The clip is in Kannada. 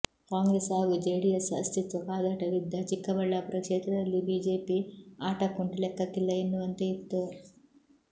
ಕಾಂಗ್ರೆಸ್ ಹಾಗೂ ಜೆಡಿಎಸ್ ಅಸ್ತಿತ್ವ ಕಾದಾಟವಿದ್ದ ಚಿಕ್ಕಬಳ್ಳಾಪುರ ಕ್ಷೇತ್ರದಲ್ಲಿ ಬಿಜೆಪಿ ಆಟಕ್ಕುಂಟು ಲೆಕ್ಕಕ್ಕಿಲ್ಲ ಎನ್ನುವಂತೆ ಇತ್ತು